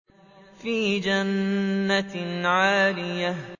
فِي جَنَّةٍ عَالِيَةٍ